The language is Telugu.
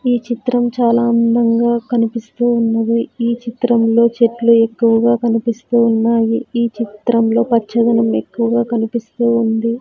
ఈ చిత్రం చాలా అందంగా కనిపిస్తూ ఉన్నది ఈ చిత్రంలో చెట్లు ఎక్కువగా కనిపిస్తూ ఉన్నాయి ఈ చిత్రంలో పచ్చదనం ఎక్కువగా కనిపిస్తూ ఉంది.